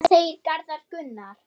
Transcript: Hvað segir Garðar Gunnar?